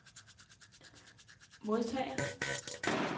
modtager